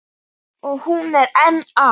Og hún er enn að.